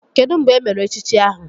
Kedụ mgbe emere echichi ahụ?